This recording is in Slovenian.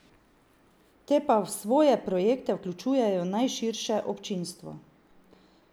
Te pa v svoje projekte vključujejo najširše občinstvo.